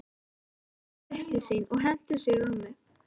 Hún hljóp upp til sín og henti sér í rúmið.